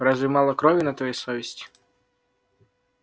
разве мало крови на твоей совести